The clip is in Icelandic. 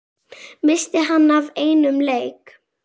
missti hann af einum leik?